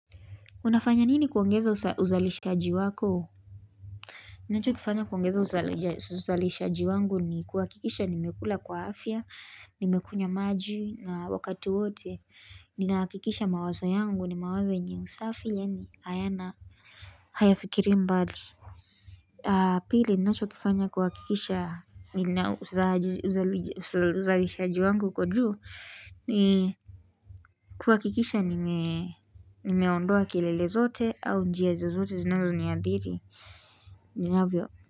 Unafanya nini kuongeza uzalishaji wako? Ninachokifanya kuongeza uzalishaji wangu ni kuhakikisha nimekula kwa afya, nimekunywa maji na wakati wote, ninahakikisha mawazo yangu, ni mawazo yenye usafi, yaani, hayana, hayafikirii mbali. Pili ninachokifanya kuhakikisha uzalishaji wangu uko juu, ni kuhakikisha nimeondoa kelele zote au njia zozote zinazoniathiri ninavyo.